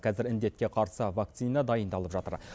қазір індетке қарсы вакцина дайындалып жатыр